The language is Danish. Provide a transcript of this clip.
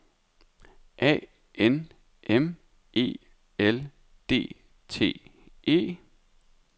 A N M E L D T E